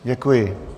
Děkuji.